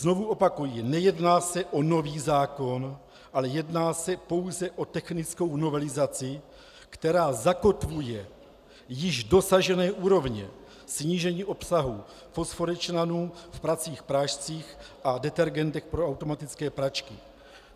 Znovu opakuji, nejedná se o nový zákon, ale jedná se pouze o technickou novelizaci, která zakotvuje již dosažené úrovně snížení obsahu fosforečnanu v pracích prášcích a detergentech pro automatické pračky.